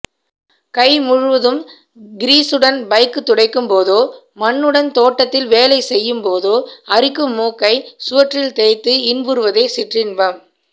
கைமுழுதும் கிரீசுடன் பைக்துடைக்கும்போதோ மண்ணுடன் தோட்டத்தில் வேலைசெய்யும்போதோ அரிக்கும் மூக்கை சுவற்றில்தேய்த்து இன்புறுவதே சிற்றின்பம்